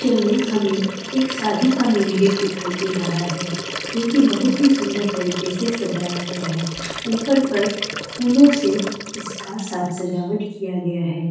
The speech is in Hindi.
चर्च में हमें एक शादी का मेन गेट दिखाइ दे रहा है जो की बहुत ही सुन्दर तरीके से सजाया गया है ऊपर पर फूलो से इसका साज- सजावट किया गया है।